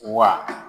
Wa